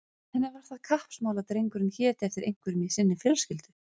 Henni var það kappsmál að drengurinn héti eftir einhverjum í sinni fjölskyldu.